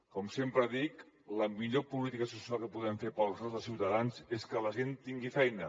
com sempre dic la millor política social que podem fer per als nostres ciutadans és que la gent tingui feina